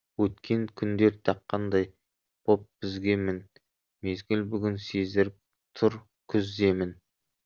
өткен күндер таққандай боп бізге мін мезгіл бүгін сездіріп тұр күз демін